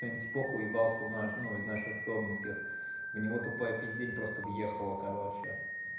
там типок уебался у наш ну из наших собнинских в него тупая пиздень просто въехала короче